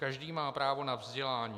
Každý má právo na vzdělání.